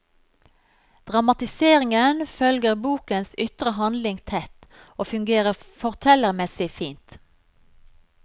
Dramatiseringen følger bokens ytre handling tett og fungerer fortellermessig fint.